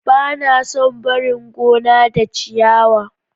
Ba na son barin gona da ciyawa.